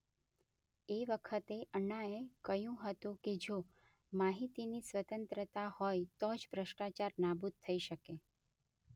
એ વખતે અણ્ણાએ કહ્યુ હતું કે જો માહિતીની સ્વતંત્રતા હોય તો જ ભ્રષ્ટાચાર નાબૂદ થઈ શકે..